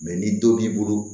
ni dɔ b'i bolo